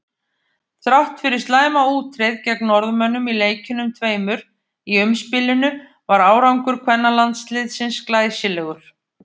Þrátt fyrir slæma útreið gegn Norðmönnum í leikjunum tveimur í umspilinu var árangur kvennalandsliðsins glæsilegur.